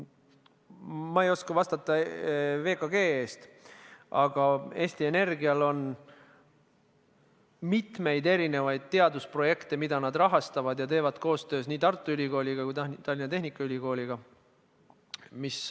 Ma ei oska vastata VKG eest, aga Eesti Energial on mitmeid teadusprojekte, mida nad rahastavad ja teevad koostööd nii Tartu Ülikooli kui ka Tallinna Tehnikaülikooliga.